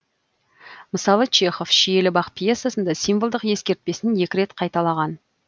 мыс чехов шиелі бақ пьесасында символдық ескертпесін екі рет қайталаған